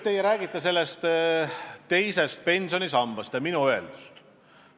Teie rääkisite teisest pensionisambast ja minu öeldust.